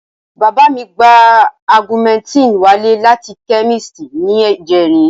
Bàbá mi gba augmentin wálé láti chemist ní ìjẹrin